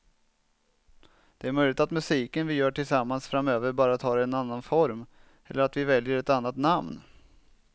Det är möjligt att musiken vi gör tillsammans framöver bara tar en annan form eller att vi väljer ett annat namn.